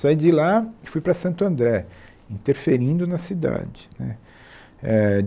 Saí de lá e fui para Santo André, interferindo na cidade né éh.